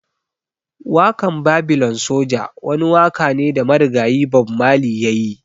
Wakan Babylon soja wani waka ne da marigayi Bob Marley ya yi.